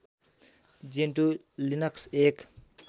Gentoo Linux एक